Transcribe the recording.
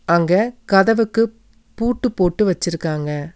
அங்க கதவுக்கு பூட்டு போட்டு வெச்சிருக்காங்க.